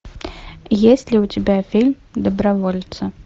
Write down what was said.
есть ли у тебя фильм добровольцы